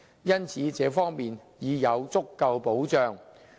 因此，這方面已有足夠保障。